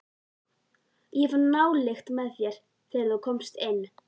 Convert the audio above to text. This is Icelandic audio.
Ég fann nálykt með þér, þegar þú komst inn.